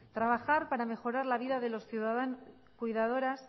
trabajar para mejorar la vida de las cuidadoras